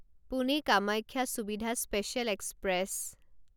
Pune Kamakhya Suvidha special express